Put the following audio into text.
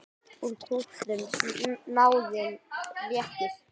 Úr kútnum snáðinn réttir.